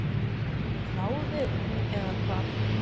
geturðu ráðið, eða hvað?